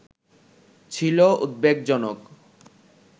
ছিলো উদ্বেগজনক